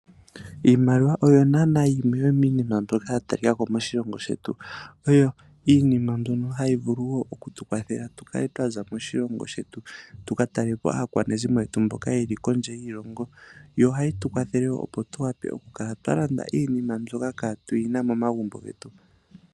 Iimaliwa oyo naana yimwe yomiinima mbyoka ya talikako moshilongo shetu oyo iinima mbyono hayi vulu oku tukwathela okukala twaza moshilongo shetu tuka talelapo aakwanezimo yetu mboka yeli kondje yiilongo. Ohayi tu kwathele woo opo tuwape okukala twalanda iinima mbyoka katuyina momagumbo getu.